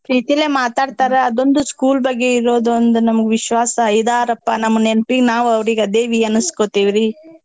ಪ್ರೀತೀಲೇ ಮಾತಾಡ್ತಾರ ಅದೊಂದು school ಬಗ್ಗೆ ಇರೋದು ನಮ್ಗೊಂದ್ ವಿಶ್ವಾಸ ಇದಾರಪ್ಪಾ ನಮ್ ನೆನ್ಪಿಗ್ ನಾವ್ ಅವ್ರಿಗ್ ಅದೇವಿ ಅನ್ಸಕೊತೇವ್ರಿ.